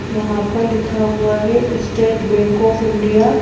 यहां पर लिखा हुआ है स्टेट बैंक ऑफ़ इंडिया ।